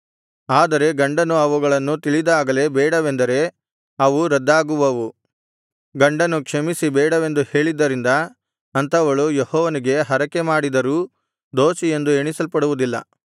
ಆದರೆ ಗಂಡನು ಅವುಗಳನ್ನು ತಿಳಿದಾಗಲೇ ಬೇಡವೆಂದರೆ ಅವು ರದ್ದಾಗುವವು ಗಂಡನು ಕ್ಷಮಿಸಿ ಬೇಡವೆಂದು ಹೇಳಿದ್ದರಿಂದ ಅಂಥವಳು ಯೆಹೋವನಿಗೆ ಹರಕೆ ಮಾಡಿದರೂ ದೋಷಿಯೆಂದು ಎಣಿಸಲ್ಪಡುವುದಿಲ್ಲ